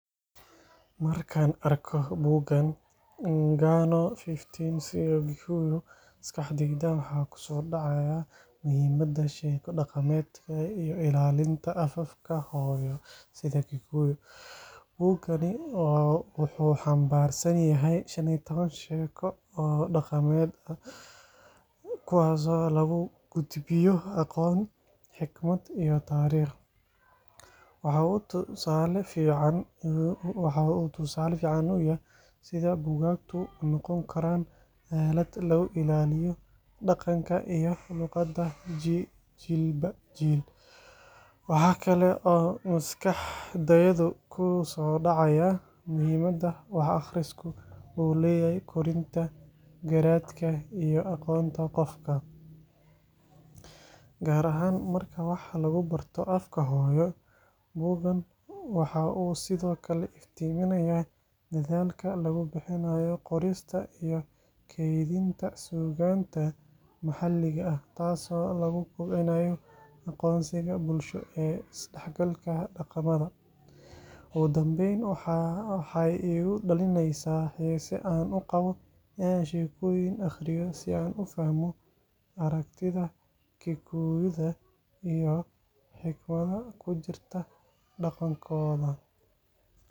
Marka aan arko buuggan “Ng’ano 15 cia ũ Gĩkũyũ,” maskaxdayda waxa ku soo dhacaya muhiimadda sheeko dhaqameedka iyo ilaalinta afafka hooyo sida Kikuyu. Buuggani wuxuu xambaarsan yahay 15 sheeko oo dhaqameed, kuwaasoo lagu gudbinayo aqoon, xikmad iyo taariikh. Waxa uu tusaale fiican u yahay sida buugaagtu u noqon karaan aalad lagu ilaaliyo dhaqanka iyo luqadda jiilba jiil. Waxa kale oo maskaxdayda ku soo dhacaya muhiimada wax akhrisku u leeyahay korinta garaadka iyo aqoonta qofka, gaar ahaan marka wax lagu barto afka hooyo. Buuggan waxa uu sidoo kale iftiiminayaa dadaalka lagu bixinayo qorista iyo kaydinta suugaanta maxalliga ah, taasoo lagu kobcinayo aqoonsiga bulsho iyo isdhexgalka dhaqamada. Ugu dambayn, waxay igu dhalinaysaa xiise aan u qabo in aan sheekooyinkan akhriyo si aan u fahmo aragtida Kikuyu iyo xigmadda ku jirta dhaqankooda.